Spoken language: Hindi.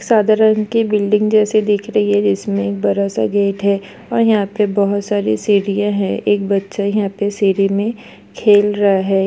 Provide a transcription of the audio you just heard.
सादा रंग की बिल्डिंग जैसी दिख रही है जिस में एक बड़ा सा गेट हैं। और यहाँ पे बहुत सारी सीढ़ियाँ हैं। एक बच्चा यहाँ पे सीढ़ी मे खेल रहा हैं।